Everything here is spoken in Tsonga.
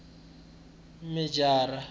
mejara